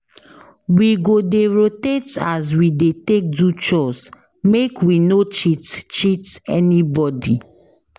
We go dey rotate as we dey take do chores make we no cheat cheat anybodi.